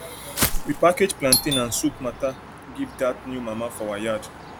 we package plantain and soup matter give dat new mama for our yard